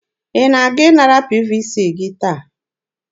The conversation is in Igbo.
Ị na-aga ịnara PVC gị taa?